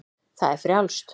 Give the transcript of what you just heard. Það er frjálst.